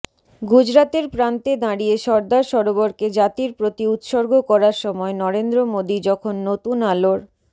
গুজরাতের প্রান্তে দাঁড়িয়ে সর্দার সরোবরকে জাতির প্রতি উৎসর্গ করার সময় নরেন্দ্র মোদী যখন নতুন আলোর